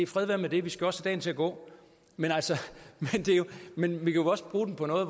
fred være med det vi skal også have dagen til at gå men altså vi kan også bruge den på noget